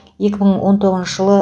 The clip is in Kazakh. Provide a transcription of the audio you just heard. екі мың он тоғызыншы жылы